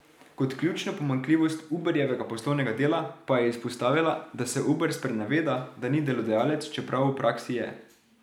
Kot ključno pomanjkljivost Uberjevega poslovnega dela pa je izpostavila, da se Uber spreneveda, da ni delodajalec, čeprav v praksi je.